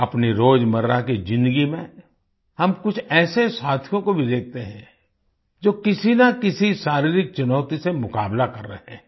अपनी रोजमर्रा की ज़िन्दगी में हम कुछ ऐसे साथियों को भी देखते हैं जो किसी ना किसी शारीरिक चुनौती से मुकाबला कर रहे हैं